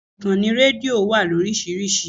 Ìkànnì rédíò wà lórísìíríìsí.